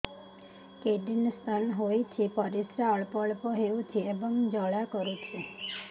kidney stone ହୋଇଛି ପରିସ୍ରା ଅଳ୍ପ ଅଳ୍ପ ହେଉଛି ଏବଂ ଜ୍ୱାଳା କରୁଛି